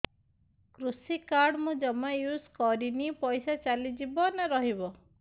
କୃଷି କାର୍ଡ ମୁଁ ଜମା ୟୁଜ଼ କରିନି ପଇସା ଚାଲିଯିବ ନା ରହିବ